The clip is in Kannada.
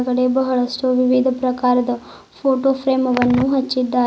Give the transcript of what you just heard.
ಕಡೆ ಬಹಳಷ್ಟು ವಿವಿಧ ಪ್ರಕಾರದ ಫೋಟೋ ಫ್ರೇಮ್ ವನ್ನು ಹಚ್ಚಿದ್ದಾರೆ.